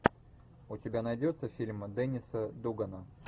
у тебя найдется фильм денниса дугана